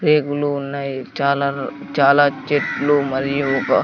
పేగులు ఉన్నాయ్ చాలర్ చాలా చెట్లు మరియు ఒకా--